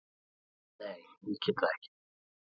Nei, ég get það ekki.